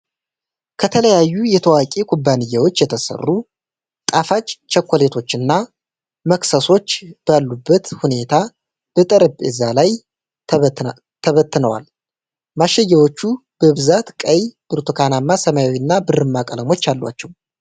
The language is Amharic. ከተለያዩ የታወቁ ኩባንያዎች የተሰሩ ጣፋጭ ቸኮሌቶችና መክሰሶች ባሉበት ሁኔታ በጠረጴዛ ላይ ተበትነዋል። ማሸጊያዎቹ በብዛት ቀይ፣ ብርቱካንማ፣ ሰማያዊ እና ብርማ ቀለሞች አሏቸው።